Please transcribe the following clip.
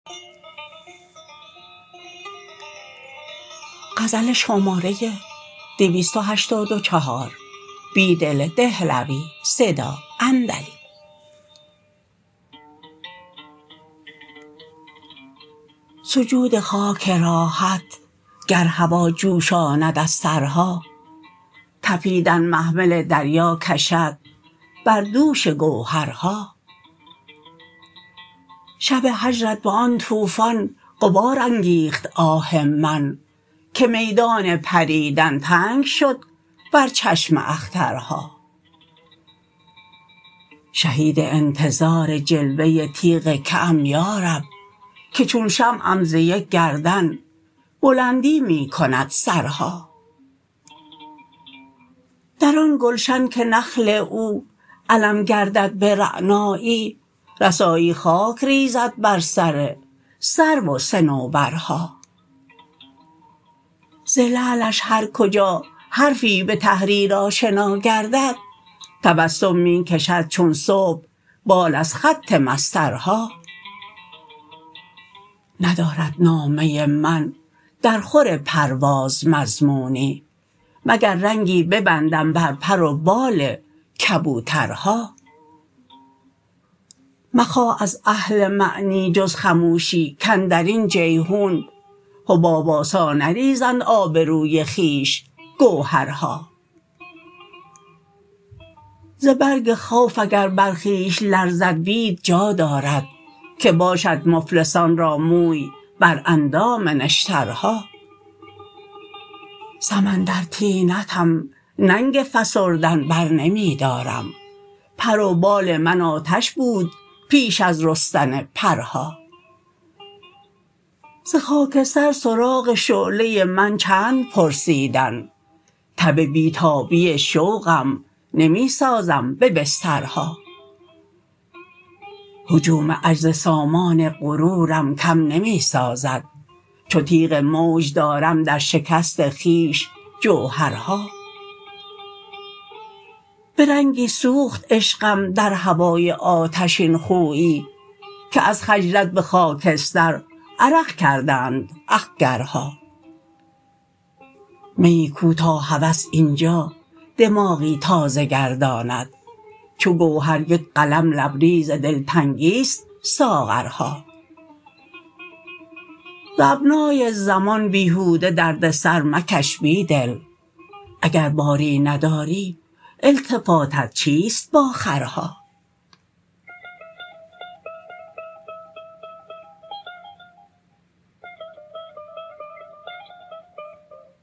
سجود خاک راحت گرهوا جوشاند ازسرها تپیدن محمل دریاکشد بر دوش گوهرها شب هجرت به آن توفان غبارانگیخت آه من که میدان پریدن تنگ شد بر چشم اخترها شهید انتظار جلوه تیغ که ام یارب که چون شمعم زیک گردن بلندی می کندسرها در آن گلشن که نخل او علم گردد به رعنایی رسایی ری - پزد بر سر سرو و صنوبرها زلعلش هرکجا حرفی به تحریرآشناگد تبسم می کشد چون صبح بال ازخط مسطرها ندارد نامه من درخور پرواز مضمونی مگر رنگی ببندم بر پر و بال کبوترها مخواه ازاهل معنی جزخموشی کاندر حباب آسا نریزن آبروی خویش گوهرها ز برگ خوف اگر بر خویش لرزد بید جا دارد که باشد مفلسان را موی براندام نشترها سمندر طینتم ننگ فسردن برنمی دارم پروبال من آتش بود پیش ازرستن پرها ز خاکستر سراغ شعله من چند پرسیدن تب بیتابی شوقم نمی سازم به بسترها هجوم غجز سامان غرورم کم نمی سازد چوتیغ موج دارم در شکست خویش جوهرها به رنگی سوخت عشقم درهوای آتشین خویی که از خجلت به خاکستر عرق کردند اخگرها میی کو تا هوس اینجا دماغی تازه گرداند چوگوهر یک قلم لبریز دلتنگی ست ساغرها ز ابنای زمان بیهوده دردسر مکش بیدل اگر باری نداری التفاتت چیست با خرها